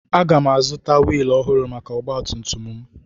Aga m azụta wiilụ ọhụrụ maka ọgba tum tum m